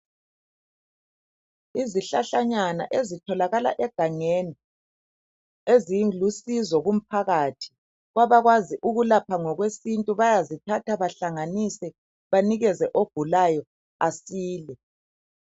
Izihlahlanyana ezitholakala egangeni ezilusizo kumphakathi. Kwabakwazi ukulapha ngokwesintu bayazithatha bahlanganise banikeze ogulayo asile